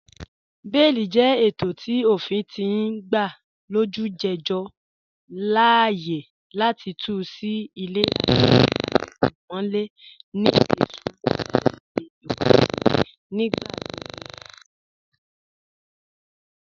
Bẹẹ̀lì jẹ ètọ̀ tí ófìn ti n gbà olújẹjọ láààyè láti tù sí ilẹ̀ latí àtímọ̀lẹ̀ ni isùnmọ̀tọ̀sì ìwàdìí, nígbàgbọ́gbọ́ pẹ̀lú àwọn ìpọ̀ kàn